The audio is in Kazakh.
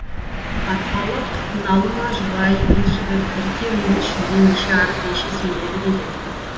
арқалық налыма жұбай ер жігіт бір терінің ішінде неше арып неше семіреді деген